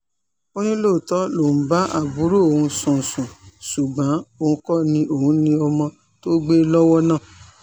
ó ní lóòótọ́ lòun ń bá àbúrò òun sùn sùn ṣùgbọ́n òun kò ní òun ní ọmọ tó gbé lọ́wọ́ náà